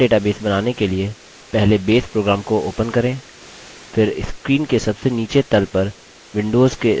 नया database बनाने के लिए पहले base program base program को open करें